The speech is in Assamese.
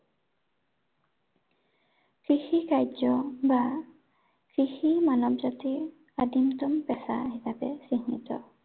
কৃষি কাৰ্য বা, কৃষি মানৱ জাতিৰ আদিমতম পেচা হিচাপে চিহ্নিত।